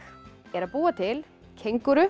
er að búa til